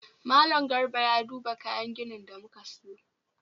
Mallam Garba ya duba kayan ginin da muka siyo